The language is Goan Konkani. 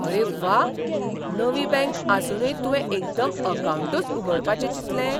अरे व्वा! नवीं बँक आसुनूय तुवें एकदम अकावंटच उगडपाचे चिंतलें.